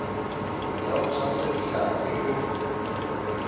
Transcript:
ya ho tshwasa dihlapi o